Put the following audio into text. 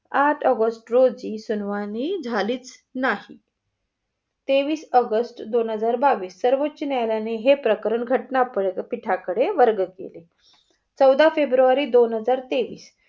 आठ ऑगस्ट रोजी सुनावनी झालीच नाही. तेवीस ऑगस्ट दोन हजार बावीस सर्वोचोन्यायालयाने हे प्रकरण घटना पीठाकडे वर्ग केले. चवदा फेब्रुरी दोन हजार तेवीस.